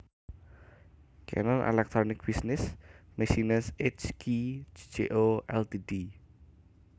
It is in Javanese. Canon Electronic Business Machines H K Co Ltd